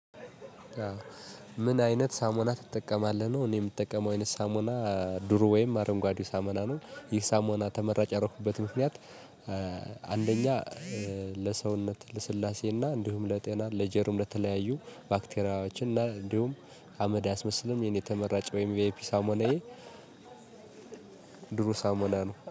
ምን? አይነት ሳሙና ትጠቀማለህ ነው እኔ እምጠቀመው አይነት ሳሙና ዱሮ ወይም አረንጓዴው ሳሙና ነው ይህ ሳሙና ተመራጭ ያረኩበት ምክንያት። አንደኛ ለሰውነት ለስላሴና እንዲሁም ለጤና ለጀርም ለተለያዩ ባክቴራችን እና እንዲሁም አመድ አያስመስልም የኔ ተመራጨ ወይም ቪአይፒ ሳሞናዬ። ዱሩ ሳሙና ነው